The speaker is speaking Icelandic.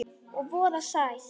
Og voða sætt.